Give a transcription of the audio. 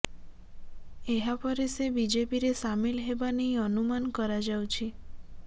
ଏହାପରେ ସେ ବିଜେପିରେ ସାମିଲ ହେବା ନେଇ ଅନୁମାନ କରାଯାଉଛି